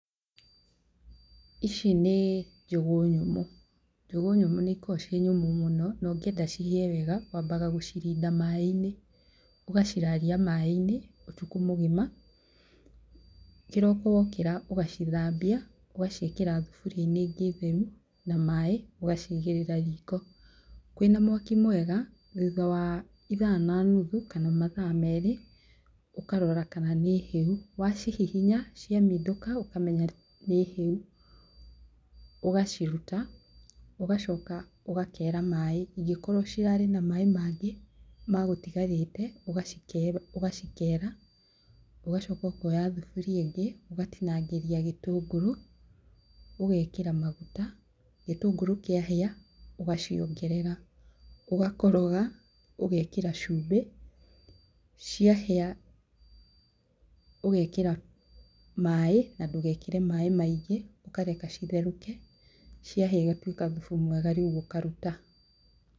Ici nĩ njũgũ nyũmũ, njũgũ nyũmũ nĩ ikoragwo ci nyũmũ mũno, na ũngĩenda ihĩe wega waambaga gũcirinda maĩ-inĩ, ũgaciraria maĩ-inĩ ũtukũ mũgima, kĩroko wokĩra ũgacithambia, ũgaciĩkĩra thuburia-inĩ ĩngĩ theru na maĩ ũgaciigĩrĩra riko. Kwĩna mwaki mwega thutha wa ithaa na nuthu kana mathaa merĩ, ũkarora kana nĩ hĩu, wacihihinya cia mindũka ũkamenya nĩ hĩu, ũgaciruta, ũgacoka ũgakeera maĩ ingĩkorwo cirarĩ na maĩ mangĩ wagũtigarĩte, ugacikeera ũgacoka ũkoya thuburia ĩngĩ, ũgatinangĩria gĩtũngũrũ, ũgeekĩra maguta, gĩtũngũrũ kĩa hĩa, ũgaciongerera, ũgakoroga, ũgekĩra cumbĩ. Cĩahĩa ũgekĩra maĩ, na ndũgekĩre maĩ maingĩ, ũkareka citherũke, ciahĩa igatuĩka thubu mwega rĩu ũkaruta.